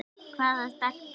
Hvaða stelpa?